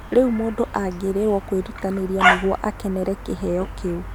Rĩu mũndũ agĩrĩirũo kwĩrutanĩria nĩguo akenere kĩheo kĩu